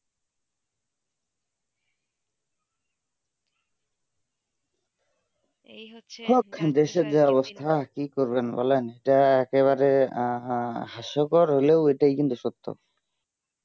দেশের যা অবস্থা কি করবেন বলেন এটা একেবারে হাস্যকর হইলেও এইটাই কিন্তু সত্য